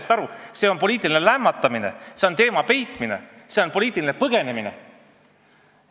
Selline jutt on poliitiline lämmatamine, see on teema peitmine, see on poliitiline põgenemine!